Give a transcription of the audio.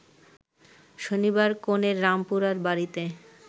শনিবার কনের রামপুরার বাড়িতে